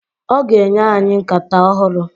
Ọ ga-enye anyị nkata ọhụrụ.